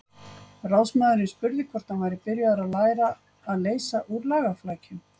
Ráðsmaðurinn spurði hvort hann væri byrjaður að læra að leysa úr lagaflækjum.